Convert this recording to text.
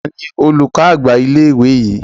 Tani olùkọ́ àgbà ilé ìwé yìí?